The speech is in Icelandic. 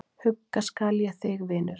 Hugga skal ég þig, vinurinn.